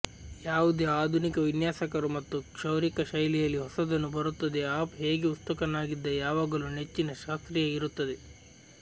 ಯಾವುದೇ ಆಧುನಿಕ ವಿನ್ಯಾಸಕರು ಮತ್ತು ಕ್ಷೌರಿಕ ಶೈಲಿಯಲ್ಲಿ ಹೊಸದನ್ನು ಬರುತ್ತದೆ ಅಪ್ ಹೇಗೆ ಉತ್ಸುಕನಾಗಿದ್ದ ಯಾವಾಗಲೂ ನೆಚ್ಚಿನ ಶಾಸ್ತ್ರೀಯ ಇರುತ್ತದೆ